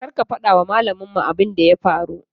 Kar ka fada wa malamin abun da ya faru.